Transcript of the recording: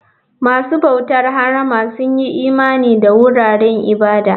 Masu bautar harama sun yi imani da wuraren ibada.